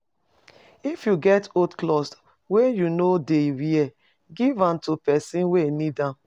If you get old cloth wey you no dey wear, give am to pesin wey need am.